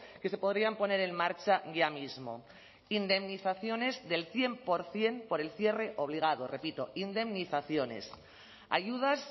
que se podrían poner en marcha ya mismo indemnizaciones del cien por ciento por el cierre obligado repito indemnizaciones ayudas